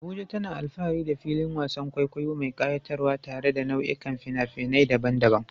Abuja tana alfahari da filin wasan kwaikwayo mai kayatarwa tare da nau'ikan fina-finai daban-daban.